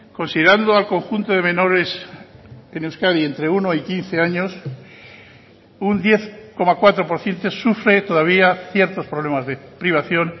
considerando al conjunto de menores en euskadi entre uno y quince años un diez coma cuatro por ciento sufre todavía ciertos problemas de privación